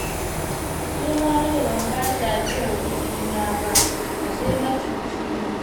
Ashe gara da ban ba shi ajiyar kuɗi na ba, ashe macuci ne